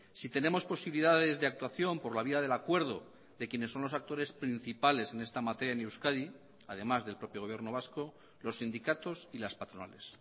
si tenemos posibilidades de actuación por la vía del acuerdo de quienes son los actores principales en esta materia en euskadi además del propio gobierno vasco los sindicatos y las patronales